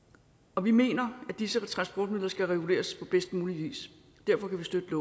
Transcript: og vi mener at disse transportmidler skal reguleres på bedst mulig vis derfor kan vi støtte